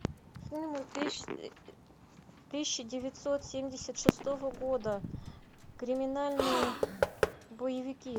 фильмы тысяча девятьсот семьдесят шестого года криминальные боевики